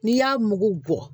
N'i y'a mugu bɔ